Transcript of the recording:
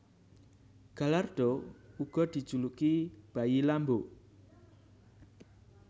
Gallardo uga dijuluki bayi Lambo